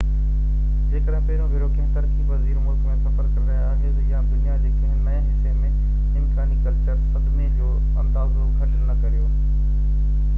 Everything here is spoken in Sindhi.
جيڪڏهن پهريون ڀيرو ڪنهن ترقي پذير ملڪ ۾ سفر ڪري رهيا آهيو – يا دنيا جي ڪنهن نئين حصي ۾– امڪاني ڪلچر صدمي جو اندازو گهٽ نه ڪريو